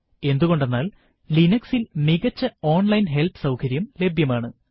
എന്തുകൊണ്ടെന്നാൽ Linux ൽ മികച്ച ഓൺലൈൻ ഹെല്പ് സൌകര്യം ലഭ്യമാണ്